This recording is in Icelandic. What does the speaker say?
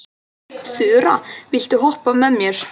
Þura, viltu hoppa með mér?